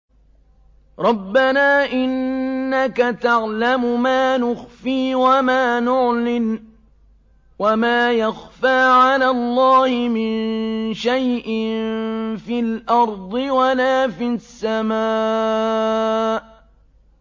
رَبَّنَا إِنَّكَ تَعْلَمُ مَا نُخْفِي وَمَا نُعْلِنُ ۗ وَمَا يَخْفَىٰ عَلَى اللَّهِ مِن شَيْءٍ فِي الْأَرْضِ وَلَا فِي السَّمَاءِ